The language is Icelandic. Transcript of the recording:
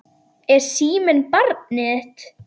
Er síminn barnið þitt?